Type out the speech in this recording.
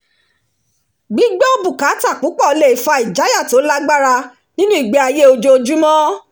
gbígbọ́ àwọn bùkátà púpọ̀ le fa ìjayà tó lágbára nínú ìgbé-ayé ojoojúmọ́